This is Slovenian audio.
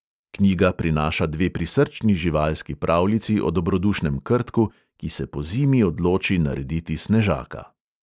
Knjiga prinaša dve prisrčni živalski pravljici o dobrodušnem krtku, ki se pozimi odloči narediti snežaka.